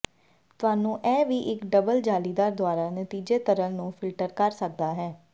ਤੁਹਾਨੂੰ ਇਹ ਵੀ ਇੱਕ ਡਬਲ ਜਾਲੀਦਾਰ ਦੁਆਰਾ ਨਤੀਜੇ ਤਰਲ ਨੂੰ ਫਿਲਟਰ ਕਰ ਸਕਦਾ ਹੈ